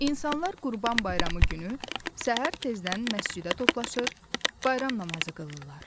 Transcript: İnsanlar Qurban bayramı günü səhər tezdən məscidə toplaşır, bayram namazı qılırlar.